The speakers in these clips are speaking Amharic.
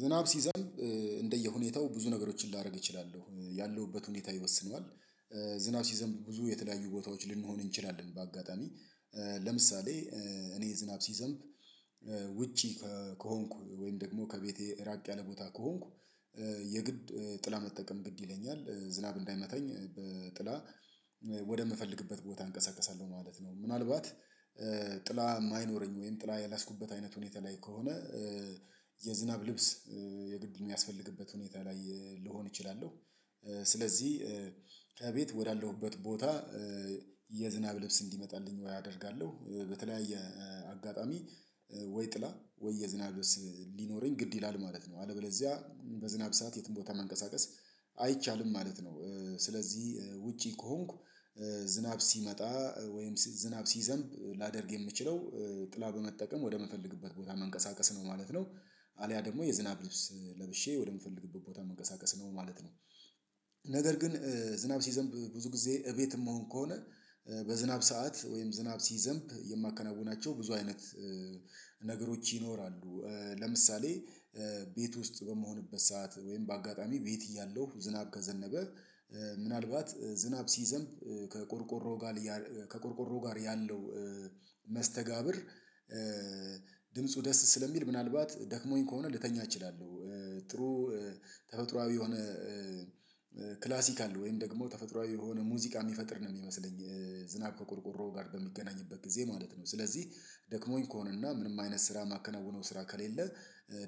ዝናብ ሲዘንብ እንደየሁኔታው ብዙ ነገሮችን ላደርግ እችላለሁ ያለሁበት ሁኔታ ይወስነዋል። ዝናብ ሲዘምብ ብዙ የተለያዩ ቦታዎች ልንሆን እንችላለን በአጋጣሚ። ለምሳሌ እኔ ዝናብ ሲዘንብ ውጪ ከሆንኩ ወይም ደግሞ ከቤቴ ራቅ ያለ ቦታ ከሆንኩ የግድ ጥላ መጠቀም ግድ ይለኛል ዝናብ እንዳይመታኝ በጥላ ወደምፈልግበት ቦታ አንቀሳቅሳለሁ ማለት ነው። ምናልባት ጥላ የማይኖረኝ ወይም ጥላ ያላስኩበት አይነት ሁኔታ ላይ ከሆነ የዝናብ ልብስ የግድ የሚያስፈልግበት ሁኔታ ላይ ልሆን እችላለሁ ስለዚህ ከቤት ወዳለሁበት ቦታ የዝናብ ልብስ እንዲመጣልኝ ወይ አደርጋለሁ በተለያየ አጋጣሚ ወይ ጥላ ወይ የዝናብ ልስ ሊኖረኝ ግድ ይላል ማለት ነው። አለበለዚያ በዝናብ ሰዓት የትም ቦታ መንቀሳቀስ አይቻልም ማለት ነው። ስለዚህ ውጪ ከሆንኩ ዝናብ ሲመጣ ወይም ዝናብ ሲዘንብ ላደርግ የምችለው ጥላ በመጠቀም ወደምፈልግበት ቦታ መንቀሳቀስ ነው ማለት ነው። አልያ ደግሞ የዝናብ ልብስ ለብሼ ወደምፈልግበት ቦታ መንቀሳቀስ ነው ማለት ነው። ነገር ግን ዝናብ ሲዘንብ ብዙ ጊዜ እቤትም መሆን ከሆነ በዝናብ ሰዓት ወይም ዝናብ ሲዘንብ የማከናውናቸው ብዙ አይነት ነገሮች ይኖራሉ ለምሳሌ ቤት ውስጥ በመሆንበት ሰዓት ወይም በአጋጣሚ ቤት እያለሁ ዝናቅ ዘነበ ምናልባት ዝናብ ሲይዘም ከቆርቆሮ ጋር ከቆርቆሮ ጋር ያለው መስተጋብር ድምፁ ደስ ስለሚል ምናልባት ደክሞኝ ከሆነ ልተኛ እችላለሁ። ጥሩ ተፈጥሮአዊ የሆነ ክላሲክ አለው ወይም ደግሞ ተፈጥሮአዊ የሆነ ሙዚቃ የሚፈጥር ነው የሚመስለኝ ዝናብ ከቆርቆሮ ጋር በሚገናኝበት ጊዜ ማለት ነው ስለዚህ ደክሞኝ ከሆነና ምንም አይነት ስራ ማከናወነው ስራ ከሌለ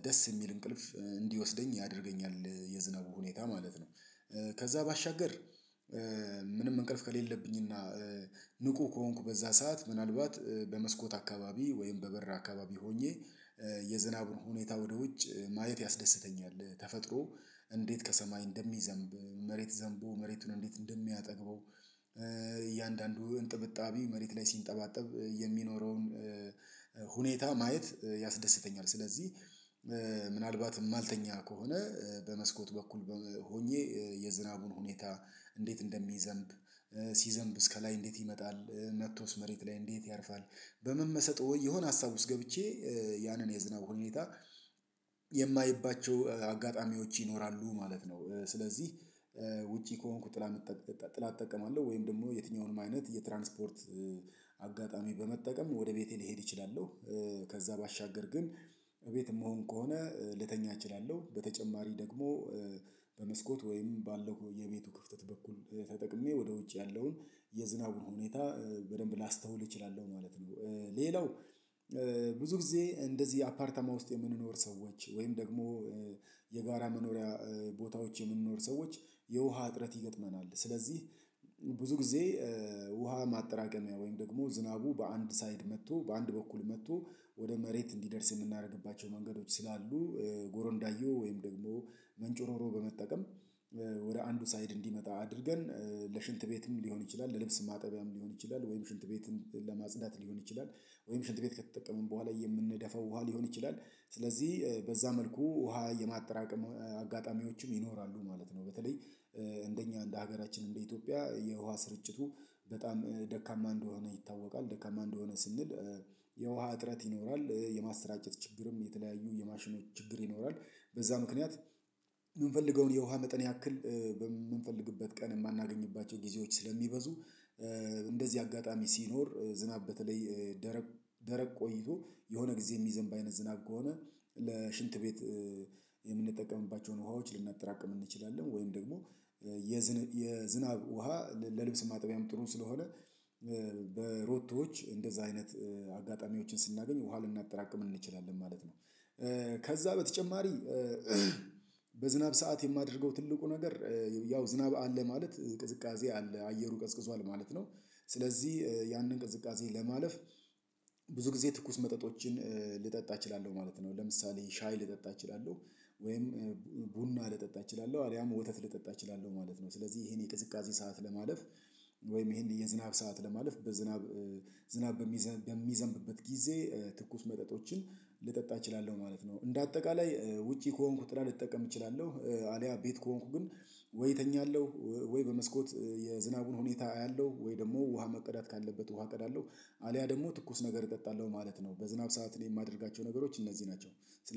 ደስ የሚል እንቅልፍ እንዲወስደኝ ያደርገኛል የዝናቡ ሁኔታ ማለት ነው። ከዛ ባሻገር ምንም እንቅልፍ ከሌለብኝና ንቁ ከሆንኩ በዛ ሰዓት ምናልባት በመስኮት አካባቢ ወይም በበራ አካባቢ ሆኜ የዝናብ ሁኔታ ወደ ውጭ ማየት ያስደስተኛል ተፈጥሮ እንዴት ከሰማይ እንደሚዘንብ መሬት ዘንቦ መሬቱን እንዴት እንደሚያጠግበው እያንዳንዱ እንጥብጣቢ መሬት ላይ ሲንጠባጠብ የሚኖረውን ሁኔታ ማየት ያስደስተኛል ስለዚህ ምናልባት ማልተኛ ከሆነ በመስኮት በኩል ሆኜ የዝናቡን ሁኔታ እንዴት እንደሚዘንብ ሲዘንብ እስከ ላይ እንዴት ይመጣል መጥቶስ መሬት ላይ እንዴት ያርፋል በምን መሰጠው ወይ የሆነ ሀሳብ ውስጥ ገብቼ ያንን የዝናብ ሁኔታ የማይባቸው አጋጣሚዎች ይኖራሉ ማለት ነው ስለዚህ ውጪ ከሆንኩ ጥላ ጥላ እጠቀማለሁ ወይም ደግሞ የትኛውንም አይነት የትራንስፖርት አጋጣሚ በመጠቀም ወደ ቤቴ ልሄድ እችላለሁ። ከዛ ባሻገር ግን እቤት የምሆን ከሆነ ልተኛ እችላለሁ በተጨማሪ ደግሞ በመስኮት ወይም ባለው የቤቱ ክፍተት በኩል ተጠቅሜ ወደ ውጭ ያለውን የዝናቡን ሁኔታ በደንብ ላስተውል እችላለሁ ማለት ነው። ሌላው ብዙ ጊዜ እንደዚህ አፓርታማ ውስጥ የምንኖር ሰዎች ወይም ደግሞ የጋራ መኖሪያ ቦታዎች የምንኖር ሰዎች የውሃ እጥረት ይገጥመናል ስለዚህ ብዙ ጊዜ ውሃ ማጠራቀሚያ ወይም ደግሞ ዝናቡ በአንድ ሳይድ መጥቶ በአንድ በኩል መጥቶ ወደ መሬት እንዲደርስ የምናደርግባቸው መንገዶች ስላሉ ጎሮ እንዳየው ወይም ደግሞ ምንጩ ኖሮ በመጠቀም ወደ አንዱ ሳይድ እንዲመጣ አድርገን ለሽንት ቤትም ሊሆን ይችላል ለልብስ ማጠቢያም ሊሆን ይችላል ወይም ሽንት ቤትም ለማጽዳት ሊሆን ይችላል ወይም ሽንት ቤት ከተጠቀመን በኋላ የምንደፋው ውሃ ሊሆን ይችላል። ስለዚህ በዛ መልኩ ውሃ የማጠራቀም አጋጣሚዎችም ይኖራሉ ማለት ነው በተለይ እንደኛ እንደ ሀገራችን እንደ ኢትዮጵያ የውሃ ስርጭቱ በጣም ደካማ እንደሆነ ይታወቃል። ደካማ እንደሆነ ስንል የውሃ እጥረት ይኖራል የማስረጃጨት ችግርም የተለያዩ የማሽኖች ችግር ይኖራል በዛ ምክንያት የምንፈልገውን የውሃ መጠን ያክል በምንፈልግበት ቀን የማናገኝባቸው ጊዜዎች ስለሚበዙ እንደዚህ አጋጣሚ ሲኖር ዝናብ በተለይ ደረቅ ደረቅ ቆይቶ የሆነ ጊዜ የሚዘንብ አይነት ዝናቅ ከሆነ ለሽንት ቤት የምንጠቀምባቸውን ውሃዎች ልናጠራቅም እንችላለን ወይም ደግሞ የዝናብ ውሃ ለልብስ ማጠቢያም ጥሩን ስለሆነ በሮቶዎች እንደዛ አይነት አጋጣሚዎችን ስናገኝ ውሃ ልናጠራቅም እንችላለን ማለት ነው። ከዛ በተጨማሪ ሰዓት የማደርገው ትልቁ ነገር ያው ዝናብ አለ ማለት ቅዝቃዜ አለ አየሩ ቀዝቅዟል ማለት ነው ስለዚህ ያንን ቅዝቃዜ ለማለፍ ብዙ ጊዜ ትኩስ መጠጦችን ልጠጣ እችላለሁ ማለት ነው። ለምሳሌ ሻይ ልጠጣ እችላለሁ ወይም ቡና ልጠጣ እችላለሁ አለያም ወተት ልጠጣ እችላለሁ ማለት ነው። ስለዚህ ይሄን የቅዝቃዜ ሰዓት ለማለፍ ወይም ይሄን የዝናብ ሰዓት ለማለፍ በዝናብ ዝናብ በሚዘንብበት ጊዜ ትኩስ መጠጦችን ልጠጣ እችላለሁ ማለት ነው እንደ አጠቃላይ ውጪ ከሆንኩት ጥላ ልጠቀም እችላለሁ አልያ ቤት ከሆንኩ ግን ወይ እተኛለሁ ወይ በመስኮት የዝናቡን ሁኔታ አያለሁ ወይ ደግሞ ውሃ መቅዳት ካለበት ውሃ ቀዳለው አልያ ደግሞ ትኩስ ነገር እጠጣለሁ ማለት ነው። በዝናብ ሰዓት የማደርጋቸው ነገሮች እነዚህ ናቸው።